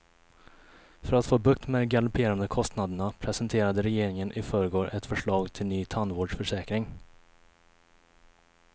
För att få bukt med de galopperande kostnaderna presenterade regeringen i förrgår ett förslag till ny tandvårdsförsäkring.